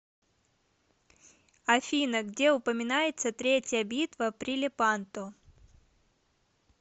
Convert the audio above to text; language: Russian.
афина где упоминается третья битва при лепанто